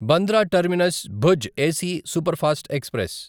Bandra terminus Bhuj AC superfast express